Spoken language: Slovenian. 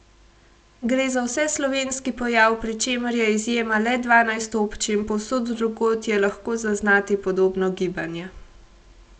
Gre za vseslovenski pojav, pri čemer je izjema le dvanajst občin, povsod drugod je lahko zaznati podobno gibanje.